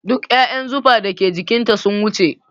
Duk ƴaƴan zufa da ke jikin ta sun wuce